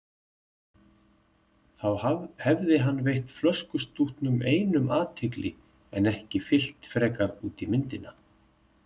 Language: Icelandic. Þá hefði hann veitt flöskustútnum einum athygli en ekki fyllt frekar út í myndina.